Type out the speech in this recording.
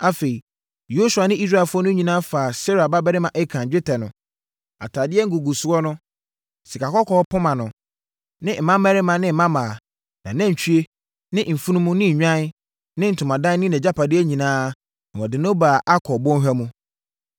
Afei, Yosua ne Israelfoɔ no nyinaa faa Serah babarima Akan, dwetɛ no, atadeɛ ngugusoɔ no, sikakɔkɔɔ poma no, ne mmammarima, ne mmammaa, nʼanantwie, ne mfunumu, ne nnwan, ne ntomadan ne nʼagyapadeɛ nyinaa na wɔde no baa Akɔr bɔnhwa mu.